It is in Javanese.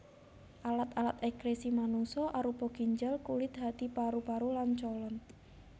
Alat alat ekskresi manungsa arupa ginjal kulit hati paru paru lan colon